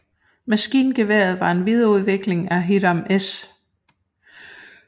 Maskingeværet var en videreudvikling af Hiram S